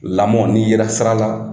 Lamɔn n'i yera sira la,